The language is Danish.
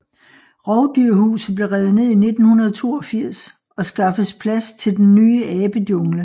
Rovdyrhuset blev revet ned i 1982 og skaffes plads til den ny Abejungle